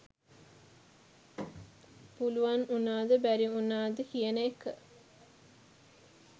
පුළුවන් වුනා ද බැරි වුනා ද කියන එක